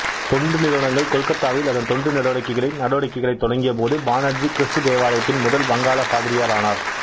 தொண்டு நிறுவனங்கள் கொல்கத்தாவில் அதன் தொண்டு நடவடிக்கைகளைத் நடவடிக்கைகளைத் தொடங்கியபோது பானர்ஜி கிறிஸ்து தேவாலயத்தின் முதல் வங்காளப் பாதிரியார் ஆனார்